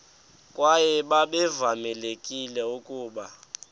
kwaye babevamelekile ukuba